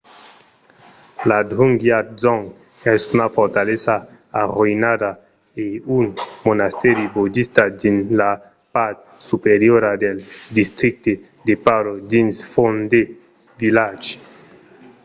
la drukgyal dzong es una fortalesa arroïnada e un monastèri bodista dins la part superiora del districte de paro dins phondey village